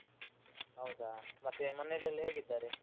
ಹೌದಾ, ಮತ್ತೆ ಮನೇಲೆಲ್ಲಾ ಹೇಗಿದ್ದಾರೆ?